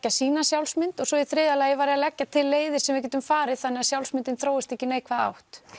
sína sjálfsmynd og svo í þriðja lagi var ég að leggja til leiðir sem við getum farið þannig að sjálfsmyndin þróist ekki í neikvæða átt